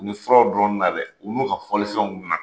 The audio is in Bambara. U bɛ furaw dɔnni na dɛ, o n'u ka fɔlifɛnw na